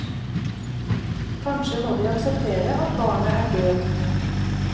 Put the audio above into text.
Kanskje må de akseptere at barnet er døvt.